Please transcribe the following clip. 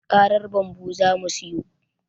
Karar bambu zamu siyo